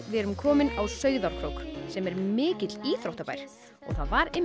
við erum komin á Sauðárkrók sem er mikill íþróttabær það var